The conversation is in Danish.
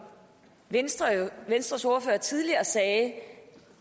venstres venstres ordfører tidligere sagde